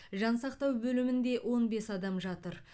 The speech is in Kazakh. жансақтау бөлімінде он бес адам жатыр